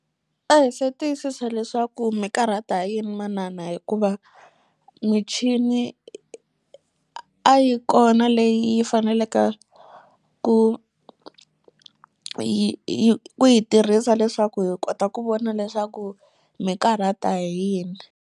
A hi se tiyisisa leswaku mikarhata hi yini manana hikuva michini a yi kona leyi yi fanelaka ku yi yi ku yi tirhisa leswaku hi kota ku vona leswaku mikarhata hi yini.